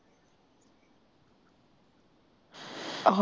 ਉਹ